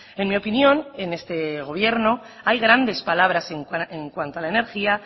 en mi opinión en este gobierno hay grandes palabras en cuanto a la energía